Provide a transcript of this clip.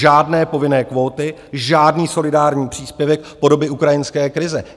Žádné povinné kvóty, žádný solidární příspěvek po dobu ukrajinské krize.